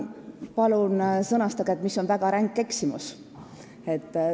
Palun sõnastage, mis on väga ränk eksimus!